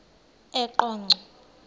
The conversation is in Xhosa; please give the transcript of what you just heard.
eqonco